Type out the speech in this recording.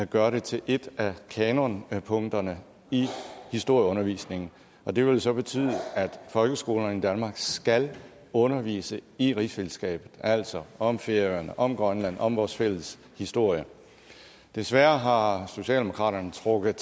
gøre det til et af kanonpunkterne i historieundervisningen det vil så betyde at folkeskolerne i danmark skal undervise i rigsfællesskabet altså om færøerne om grønland om vores fælles historie desværre har socialdemokratiet trukket